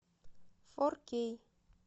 фор кей